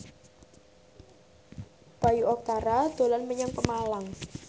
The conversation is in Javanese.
Bayu Octara dolan menyang Pemalang